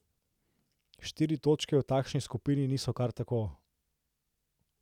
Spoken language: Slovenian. Štiri točke v takšni skupini niso kar tako.